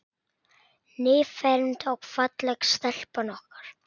Nýfermd og falleg stelpan okkar.